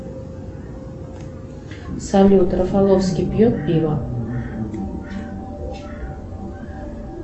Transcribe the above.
салют рафаловский пьет пиво